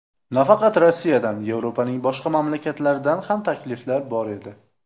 Nafaqat Rossiyadan, Yevropaning boshqa mamlakatlaridan ham takliflar bor edi.